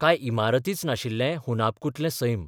काय इमारतीच नाशिल्लें हुनाब्कूंतलें सैम?